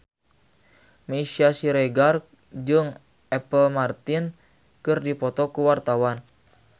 Meisya Siregar jeung Apple Martin keur dipoto ku wartawan